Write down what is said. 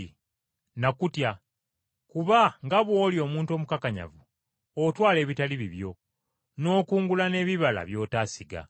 Nakutya, kuba, nga bw’oli omuntu omukakanyavu, otwala ebitali bibyo, n’okungula n’ebibala by’otaasiga.’